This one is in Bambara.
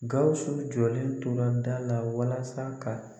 Gawusu jɔlen tora da la walasa ka